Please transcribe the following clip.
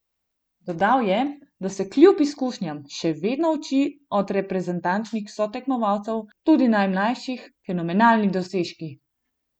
Dodal je, da se kljub izkušnjam še vedno uči od reprezentančnih sotekmovalcev, tudi najmlajših: "Fenomenalni dosežki.